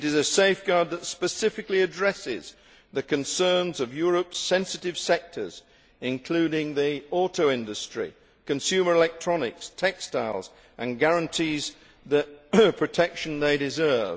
It is a safeguard that specifically addresses the concerns of Europe's sensitive sectors, including the auto industry, consumer electronics and textiles, and guarantees the protection they deserve.